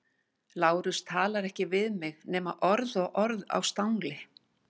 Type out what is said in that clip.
Lárus talar ekki við mig nema orð og orð á stangli.